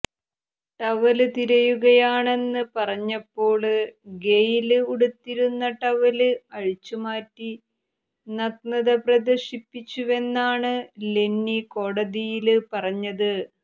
towel തിരയുകയാണെന്ന് പറഞ്ഞപ്പോള് Gayle ഉടുത്തിരുന്ന ടവല് അഴിച്ചുമാറ്റി നഗ്നത പ്രദര്ശിപ്പിച്ചുവെന്നാണ് ലെന്നി കോടതിയില് പറഞ്ഞത്